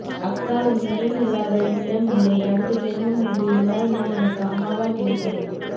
அக்கா உன் நினைவு இல்லாத நிமிடம் இல்லை அடுத்த ஜென்மம் ஒன்று இருந்தால் நீ எனக்கு அம்மா வா கிடைக்கணும்